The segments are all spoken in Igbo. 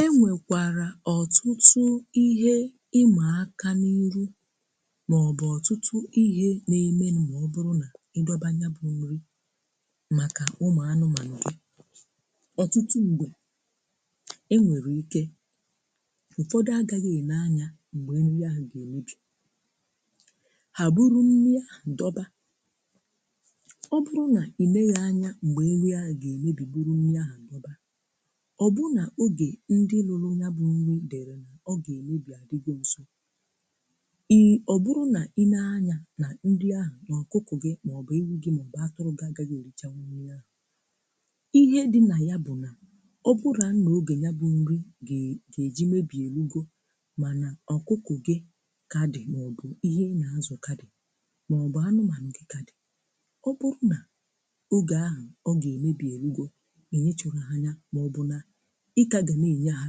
E nwekwara ọtụtụ ihe ị ma aka n'iru maọbụ ọtụtụ ihe na-emenụ́ ma ọ bụrụ na ị dọba nya bụ nri maka ụmụanụmanụ gị. Ọtụtụ mgbe, e nwere ike, ụfọdụ agaghị e le anya mgbe nri áhụ̀ ga-emebi. Ha buru nri áhụ̀ dọba. Ọ bụrụ na i leghi anya mgbe nri áhụ̀ ga-emebi buru nri áhụ̀ dọba, ọ́ bụụ́ na oge ndị rụrụ nyabụ nri dere ọ ga-emebi a dịgo nso, ị ọbụrụ na i lee anya na nri áhụ̀ na ọkụkụ gị, maọbụ ewu gị, maọbụ atụrụ gị agaghị e richanwu nri ahụ; ihe dị na ya bụ na, ọ bụraa na oge nya bụ nri ga-eji mebi e rugo mana ọkụkụ gị ka dị maọbụ ihe ị na-azụ ka dị, maọbụ anụmanụ gị ka dị, ọ bụrụ na oge áhụ̀ ọ ga-emebi e rugo, i nyochaghị anya, maọbụ na ị ka ga na-enye ha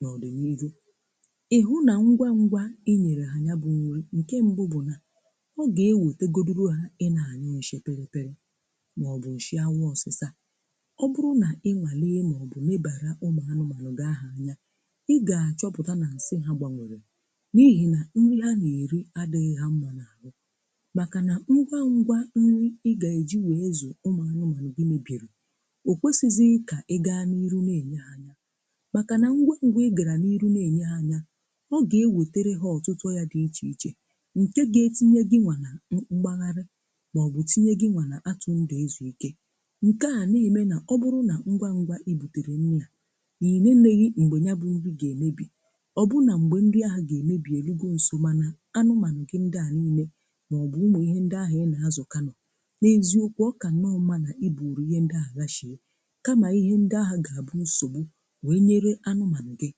n'ọdịniihu. Ị hụ na ngwa ngwa i nyere ha nyabụ nri, nke mbụ bụ na ọ ga-ewetegodịlụ ha ị na-anyụ nsị pịrị pịrị maọbụ nsị afọ ọsịsa. Ọ bụrụ na ị nwalee maọbụ lebara ụmụanụmanụ gị áhụ̀ anya, ị ga-achọpụta na nsị ha gbanworo n'ihi na nri ha na-eri adịdgị ha mma n'àhụ́. Maka na ngwa ngwa nri ị ga-eji wee zụ ụmụanụmanụ gị mebiri, o kwesizịghị ka ị gaa n'ihu na-enye ha. Maka na ngwa ngwa ị gara n'ihu na-enye ha ya, ọ ga-ewetere ha ọtụtụ ọrịa dị iche iche nke ga-etinye gịnwa na mgbagharị maọbụ tinye gịnwa n'atụ ndụ ezu ike. Nke a na-eme na ọ bụrụ na ngwa ngwa i butere nri a, na i neneghị mgbe nyabụ nri ga-emebi, ọ bụ na mgbe nri áhụ̀ ga-emebi e rugo nso mana anụmanụ gị ndị a niile maọbụ ụmụ ihe ndị áhụ̀ ị na-azụ ka nọ, na-eziokwu, ọ kannọọ mma na i buru ihe ndị áhụ̀ ghasie, kama ihe ndị áhụ̀ ga-abụ nsogbu wee nyere anụmanụ gị.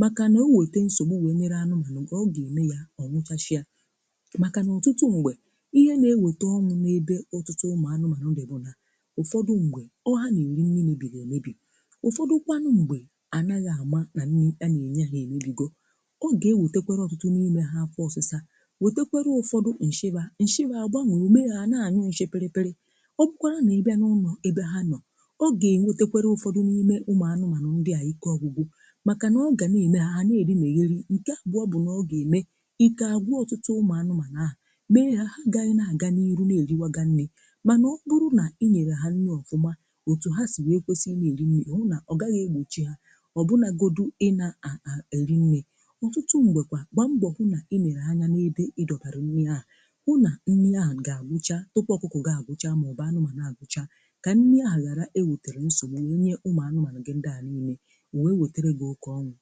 Maka na o wete nsogbu wee nyere anụmanụ gị, ọ ga-eme ya ọ wụchasịa. Maka na ọtụtụ mgbe, ihe na-eweta ọnwụ n'ebe ọtụtụ ụmụanụmanụ dị bụ na ụfọdụ mgbe, ọ ha na-eri nri mebiri emebi. Ụfọdụkwanụ mgbe, anaghị ama na nri ana-enye ha emebigo. Ọ ga-ewetakwara ọtụtụ n'ime ha afọ ọsịsa, wetekwara ụfọdị nsị fa nsị fa agbanwoo, o mee ha ha na-anyụ nsị pịrị pịrị. Ọ bụkwara n'ịbịa n'ụlọ ebe ha nọ, ọ ga-ewetekwara ụfọdụ ụmụanụmanụ ndịa ike ọgwụgwụ, maka na ọ ga na-eme ha ha na-edinegheri. Nke abụọ bụ na ọ ga-eme ike agwụ ọtụtụ ụmụanụmanụ áhụ̀; mee ha ha agaghị na-aga n'iru na-eriwaga nri. Mana ọ bụrụ na i nyere ha nri ọfụma, otu ha si wee kwesị ị na-eri nri ọgaghị egbochi ha, ọbụnagodi ị na-eri nri. Ọtụtụ mgbekwa, gbaa mbọ hụ na i nere anya n'ebe ị dọbara nri áhụ̀, hụ na nri áhụ̀ ga-agwụcha tupuu ọkụkụ agwụchaa maọbụ anụmanụ gị agwụchaa, ka nri áhụ̀ ghara eweterọ nsogbu wee nye ụmụanụmanụ gị ndị a niile. O wee wetere gị oke ọnwụ.